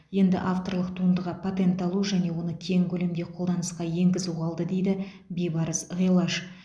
енді авторлық туындыға патент алу және оны кең көлемде қолданысқа енгізу қалды дейді бибарыс ғилаж